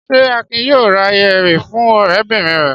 Ṣé Akin yóò ra yẹ̀rì fún ọ̀rẹ́bìnrin rẹ̀?